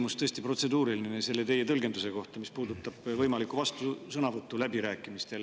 Mul on tõesti protseduuriline küsimus teie tõlgenduse kohta, mis puudutab võimalikku vastusõnavõttu läbirääkimistel.